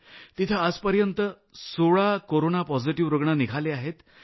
तिथं आजपर्यंत 16 corona positive रूग्ण दाखल झाले आहेत